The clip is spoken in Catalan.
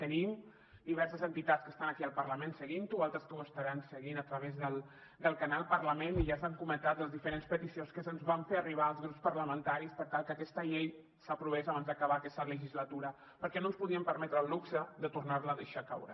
tenim diverses entitats que estan aquí al parlament seguint ho o altres que ho estaran seguint a través del canal parlament i ja s’han comentat les diferents peticions que se’ns van fer arribar als grups parlamentaris per tal que aquesta llei s’aprovés abans d’acabar aquesta legislatura perquè no ens podíem permetre el luxe de tornar la a deixar caure